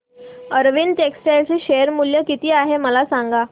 Arvind textile चे share मूल्य किती आहे मला सांगा